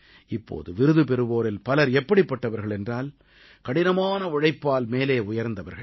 இப்போது விருது பெறுவோரில் பலர் எப்படிப்பட்டவர்கள் என்றால் கடினமான உழைப்பால் மேலே உயர்ந்தவர்கள்